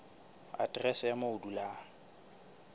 aterese ya moo o dulang